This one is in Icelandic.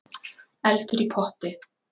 Eldur í potti